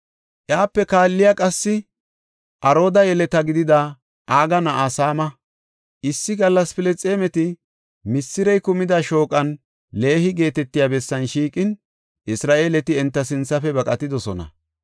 Iyape kaalley qassi Arooda yeleta gidida Aga na7aa Saama. Issi gallas Filisxeemeti misirey kumida shooqan, Leehi geetetiya bessan shiiqin, Isra7eeleti enta sinthafe baqatidosona.